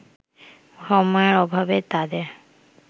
সময়ের অভাবে তাদের